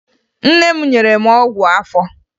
Nne m nyere m ọgwụ afọ